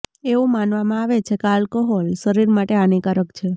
એવું માનવામાં આવે છે કે આલ્કોહોલ શરીર માટે હાનિકારક છે